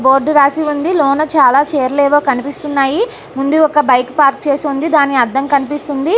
Board రాసి ఉంది లోన చానా చైర్లేవో కనిపిస్తున్నాయి .ముందు ఒక బైక్ పార్క్ చేసి ఉంది దాని అద్దం కనిపిస్తుంది.